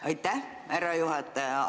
Aitäh, härra juhataja!